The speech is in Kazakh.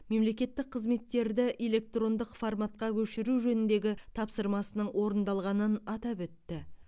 мемлекеттік қызметтерді электрондық форматқа көшіру жөніндегі тапсырмасының орындалғанын атап өтті